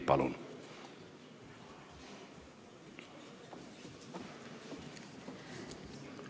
Palun!